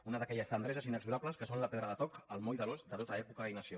és una d’aquelles tendreses inexorables que són la pedra de toc el moll de l’os de tota època i nació